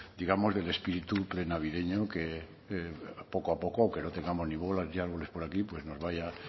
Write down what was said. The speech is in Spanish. digamos del espíritu prenavideño que poco a poco aunque no tengamos ni bolas ni árboles por aquí pues nos vaya